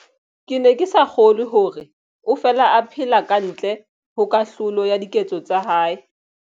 Ke ne ke sa kgolwe hore o fela a phela ka ntle ho kahlolo ya diketso tsa hae.